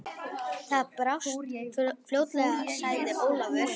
Það brást fljótlega, sagði Ólafur.